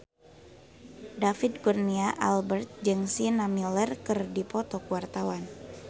David Kurnia Albert jeung Sienna Miller keur dipoto ku wartawan